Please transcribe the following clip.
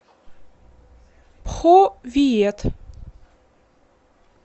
пхо виет